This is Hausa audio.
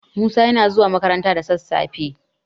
Musa yana zuwa makaranta da sassafe.